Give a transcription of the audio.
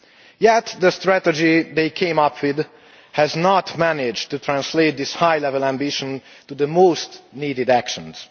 Yet the strategy they came up with has not managed to translate this high level ambition into the most needed actions.